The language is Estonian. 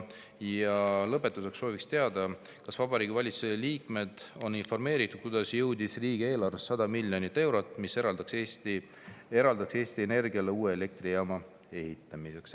" Ja lõpetuseks sooviks teada, kas Vabariigi Valitsuse liikmed on informeeritud, kuidas jõudis riigieelarvesse 100 miljonit eurot, mis eraldatakse Eesti Energiale uue elektrijaama ehitamiseks.